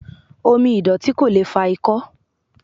Omi ìdọ̀tí ko lee fa ikó̩